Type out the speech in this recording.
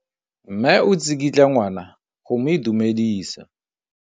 Mme o tsikitla ngwana go mo itumedisa.